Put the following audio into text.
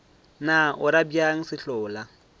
na o ra bjang sehlola